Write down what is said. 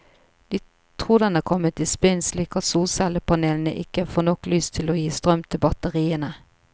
De tror den er kommet i spinn, slik at solcellepanelene ikke får nok lys til å gi strøm til batteriene.